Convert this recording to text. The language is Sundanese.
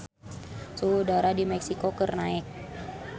Suhu udara di Meksiko keur naek